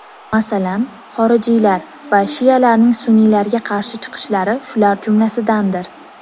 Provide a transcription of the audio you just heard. Masalan, xorijiylar va shialarning sunniylarga qarshi chiqishlari shular jumlasidandir.